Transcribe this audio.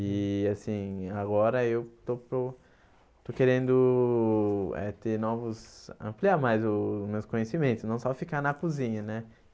E, assim, agora eu estou estou querendo eh ter novos... ampliar mais os meus conhecimentos, não só ficar na cozinha, né?